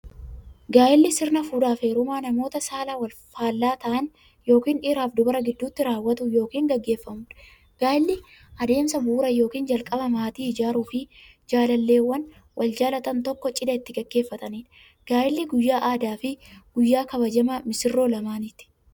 Gaa'illi sirna fuudhaaf heerumaa namoota saala faallaa ta'an yookiin dhiiraf dubara gidduutti raawwatu yookiin gaggeeffamuudha. Gaa'illi adeemsa bu'uuraa yookiin jalqabaa maatii ijaaruuf, jaalalleewwan wal jaalatan tokko cidha itti gaggeeffatamiidha. Gaa'illi guyyaa addaafi guyyaa kabajamaa missiroota lamaaniiti.